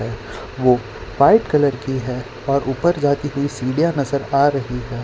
है वो white colour की है और ऊपर जाती हुई सीढ़ियां नजर आ रही हैं।